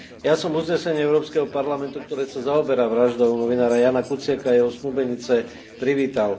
Ja som uznesenie Európskeho parlamentu, ktoré sa zaoberá vraždou novinára Jána Kuciaka a jeho snúbenice, privítal.